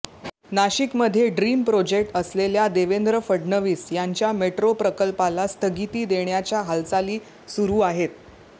नाशिकमध्ये dream project असलेल्या देवेंद्र फडणवीस यांच्या मेट्रो प्रकल्पाला स्थगिती देण्याच्या हालचाली सुरु आहेत